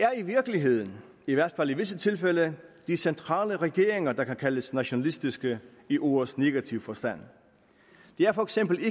er i virkeligheden i hvert fald i visse tilfælde de centrale regeringer der kan kaldes nationalistiske i ordets negative forstand det er for eksempel